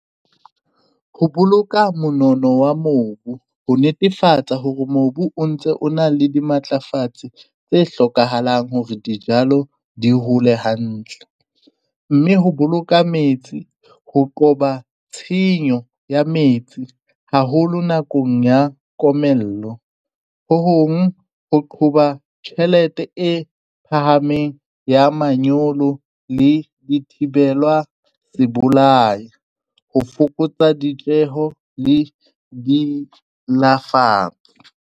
Ho boloka monono wa mobu ho netefatsa hore mobu o ntse o na le dimatlafatsi tse hlokahalang hore dijalo di hole hantle, mme ho boloka metsi ho qoba tshenyo ya metsi haholo nakong ya komello, ho hong ho qhoba tjhelete e phahameng ya manyolo, le dithibelwa ho fokotsa ditjeho le di .